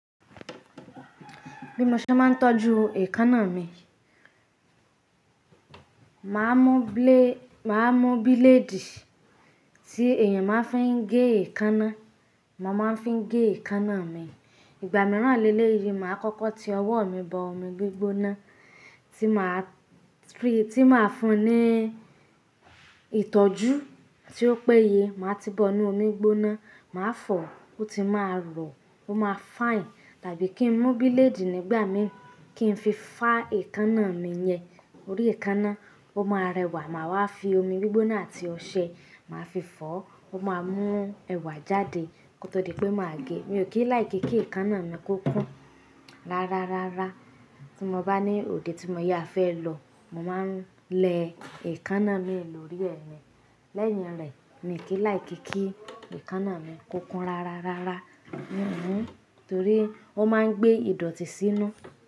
Bí mo ṣe máa ń tọ́jú èékánná mi, màá mú bíléèdì tí èèyàn máa ń fi n gé èékánná, màá máa ń fi gé èékánná mi. Ìgbà mìíràn lé lé yìí, màá kọ́kọ́ ti ọwọ́ mi bọ omi gbígbóná tí màá fún ní ìtọ́jú tí ó péye. Màá ti bọ inu omi gbígbóná, màá fọ̀ ó, ó ti máa rọ, ó máa fine. Tàbí kí n mú bíléèdì nígbà mi kí n fi fá èékánná mi yẹn. Orí èékánná, ó máa rẹwà, màá wá fi omi gbígbóná àti ọṣẹ, màá fi fọ̀ ó, ó máa mú ẹwà jáde kó tó di pé màá gé. Mi ò kí ń like kí èékánná mi kó kún rárárárá. Tí mo bá ní òde tí mo yà fẹ́ lọ, màá ń lẹ èékánná mii lórí ẹ̀ ní. Lẹ́ẹ̀hin rẹ̀ mi ò kí ń like kí èékánná mi kó kún rárárárá torí ó máa ń gbé ìdọ̀tí sínú.